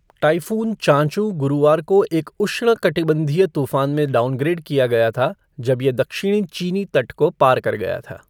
Typhoon चाँचू गुरुवार को एक उष्णकटिबंधीय तूफान में डाउनग्रेड किया गया था जब ये दक्षिणी चीनी तट को पार कर गया था।